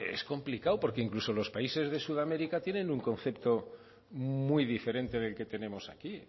es complicado porque incluso países de sudamérica tienen un concepto muy diferente del que tenemos aquí